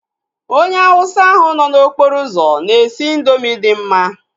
Onye Hauwsa ahu nọ n'okporo ụzọ na-esi indoomị dị mma